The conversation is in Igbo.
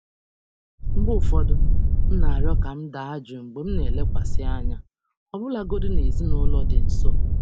Mgbe ụfọdụ, m na-arịọ ka m daa jụụ mgbe m na-elekwasị anya, ọbụlagodi na ezinaụlọ dị nso.